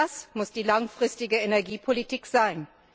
Das muss die langfristige Energiepolitik sein.